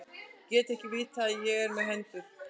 Ég get ekki vitað að ég er með hendur.